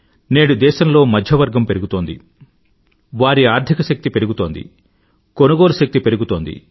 నేడు దేశంలో మధ్యవర్గం పెరుగుతోంది వారి ఆర్థిక శక్తి పెరుగుతోంది కొనుగోలు శక్తి పెరుగుతోంది